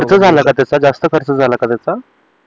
खर्च झाला का त्याचा जास्त खर्च झाला का त्याचा